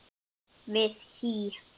við HÍ.